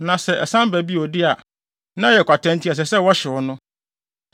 Na sɛ ɛsan ba bio de a, na ɛyɛ kwata enti ɛsɛ sɛ wɔhyew no.